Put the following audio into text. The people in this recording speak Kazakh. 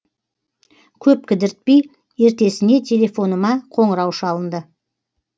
көп кідіртпей ертесіне телефоныма қоңырау шалынды